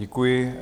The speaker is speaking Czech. Děkuji.